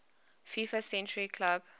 fifa century club